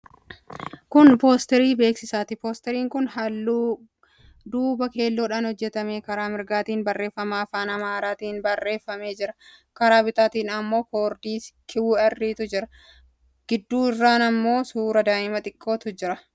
Kun poosterii beeksisaati. Poosteriin kun halluu duubaa keelloodhaan hojjetame. Karaa mirgaatiin barreeffama afaan Amaaraatiin barreeffametu jira. Karaa bitaatiin immoo koodii QR'tu jira. Gidduu irraan suuraa daa'ima xiqqootu jira. Aasxaafi wantoonni odeeffannoo dabarsan biroonis poosterii kana irra jiru.